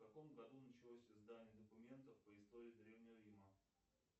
в каком году началось издание документов по истории древнего рима